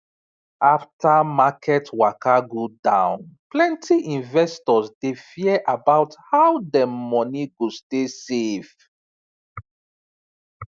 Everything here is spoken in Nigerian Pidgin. after market waka go down plenty investors dey fear about how dem money go stay safe